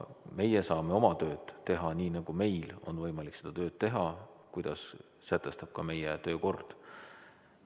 Meie saame oma tööd teha nii, nagu meil on võimalik seda tööd teha, kuidas sätestab ka meie töökord.